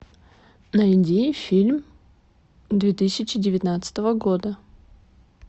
найди фильм две тысячи девятнадцатого года